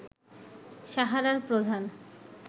সাহারার প্রধান